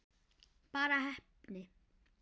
Bara heppni?